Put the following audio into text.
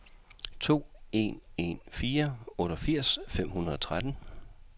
to en en fire otteogfirs fem hundrede og tretten